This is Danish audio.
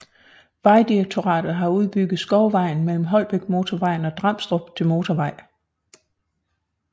Vejdirektoratet har udbygget Skovvejen mellem Holbækmotorvejen og Dramstrup til motorvej